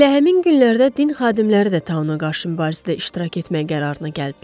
Elə həmin günlərdə din xadimləri də Tau-na qarşı mübarizədə iştirak etmək qərarına gəldilər.